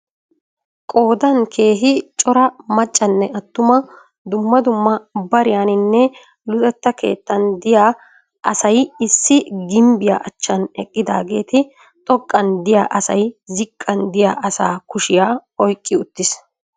Qoodan keehii cora maccanne atuma dumma dumma bariyanninne luxetaa xekkan de'iya asay issi gimbbiya achaan eqqidaagetti xoqqaan diya asay ziqqaan diya asaa kushahiya ayqqi uttis.